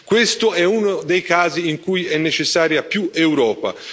Questo è uno dei casi in cui è necessaria più Europa.